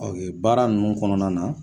baara nunnu kɔnɔna na